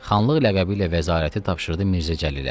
Xanlıq ləqəbi ilə vəzarəti tapşırdı Mirzə Cəlilə.